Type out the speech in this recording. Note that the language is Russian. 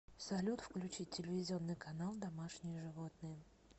салют включить телевизионный канал домашние животные